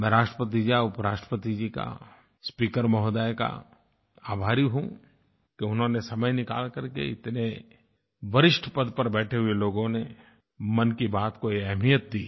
मैं राष्ट्रपति जी का उपराष्ट्रपति जी का स्पीकर महोदया का आभारी हूँ कि उन्होंने समय निकाल करके इतने वरिष्ठ पद पर बैठे हुए लोगों ने मन की बात को ये अहमियत दी